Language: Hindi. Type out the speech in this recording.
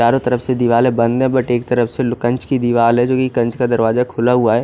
चारो तरफ से दीवारे बंद है बट एक तरफ से लुकंच कि दिवार है जोकि कंच का दरवाजा खुला हुआ है।